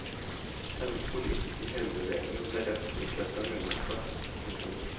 Hennes politiske helgarderinger ble rett og slett en unote. punktum